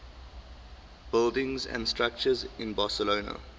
buildings and structures in barcelona